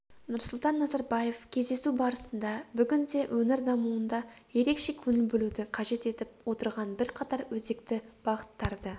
нұрсұлтан назарбаев кездесу барысында бүгінде өңір дамуында ерекше көңіл бөлуді қажет етіп отырған бірқатар өзекті бағыттарды